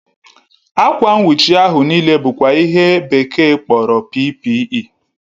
Akwa nwuchi ahu n'ile bụkwa ihe bekee kpọrọ PPE